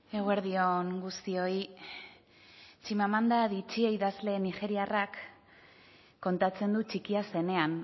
eguerdi on guztioi chimamanda adichie idazle nigeriarrak kontatzen du txikia zenean